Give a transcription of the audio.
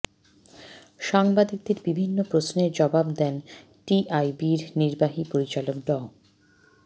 সাংবাদিকদের বিভিন্ন প্রশ্নের জবাব দেন টিআইবির নির্বাহী পরিচালক ড